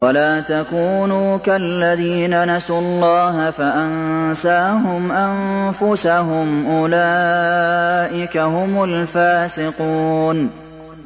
وَلَا تَكُونُوا كَالَّذِينَ نَسُوا اللَّهَ فَأَنسَاهُمْ أَنفُسَهُمْ ۚ أُولَٰئِكَ هُمُ الْفَاسِقُونَ